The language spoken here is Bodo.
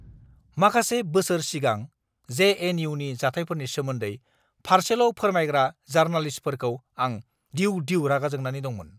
माखासे बोसोर सिगां जे.एन.इउ.नि जाथायफोरनि सोमोन्दै फारसेल' फोरमायग्रा जारनालिस्टफोरखौ आं दिउ-दिउ रागा जोंनानै दंमोन।